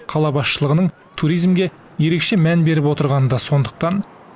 қала басшылығының туризмге ерекше мән беріп отырғаны да сондықтан